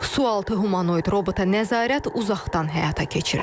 Sualtı humanoid robota nəzarət uzaqdan həyata keçirilir.